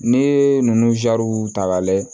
Ne ye ninnu ta k'a lajɛ